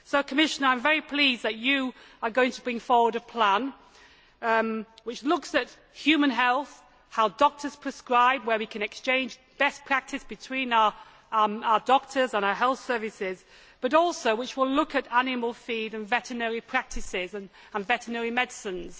So, Commissioner, I am very pleased that you are going to bring forward a plan which looks at human health, how doctors prescribe and where we can exchange best practice between our doctors and our health services, but which will also look at animal feed and veterinary practices and veterinary medicines.